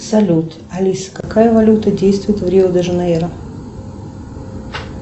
салют алиса какая валюта действует в рио де жанейро